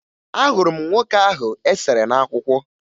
Ahụrụ m nwoke ahụ e sere n'akwụkwọ